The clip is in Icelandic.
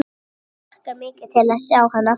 Ég hlakka mikið til að sjá hann aftur.